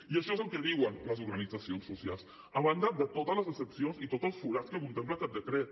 i això és el que diuen les organitzacions socials a banda de totes les excepcions i tots els forats que contempla aquest decret